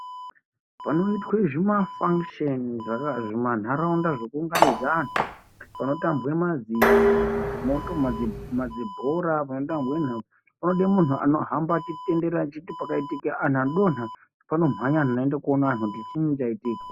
Panoitwa zvimafangisheni pamanharaunda pekuunganidza vanhu panotambwa madzibhora panotambwa nhabvu poda anhu anohamba achitenderera kuti pakaita antu adonha poda munhu anoona kuti chiini chaitika.